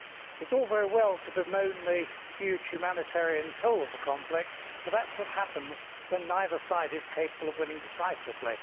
It is all very well to bemoan the huge humanitarian toll of the conflict, but that is what happens when neither side is capable of winning decisively.